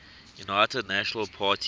united national party